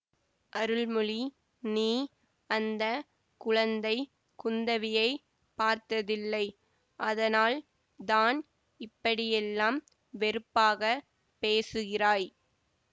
அருள்மொழி நீ அந்த குழந்தை குந்தவியை பார்த்ததில்லை அதனால் தான் இப்படியெல்லாம் வெறுப்பாக பேசுகிறாய்